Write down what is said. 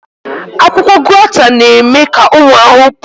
Akwụkwọ Guata na-eme ka ụmụ ahụhụ pụọ